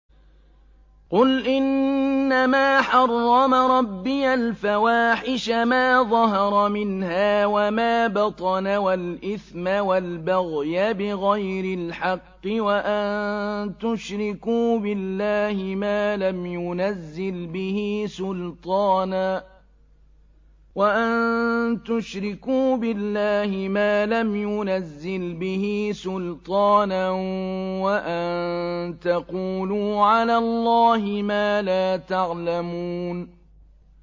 قُلْ إِنَّمَا حَرَّمَ رَبِّيَ الْفَوَاحِشَ مَا ظَهَرَ مِنْهَا وَمَا بَطَنَ وَالْإِثْمَ وَالْبَغْيَ بِغَيْرِ الْحَقِّ وَأَن تُشْرِكُوا بِاللَّهِ مَا لَمْ يُنَزِّلْ بِهِ سُلْطَانًا وَأَن تَقُولُوا عَلَى اللَّهِ مَا لَا تَعْلَمُونَ